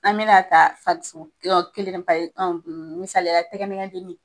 An me na ta kelen pa ye misaliya la, tɛgɛ nɛgɛ jeni.